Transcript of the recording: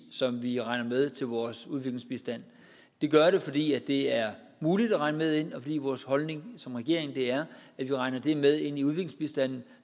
som vi regner med til vores udviklingsbistand vi gør det fordi det er muligt at regne det med ind og fordi vores holdning som regering er at vi regner det med ind i udviklingsbistanden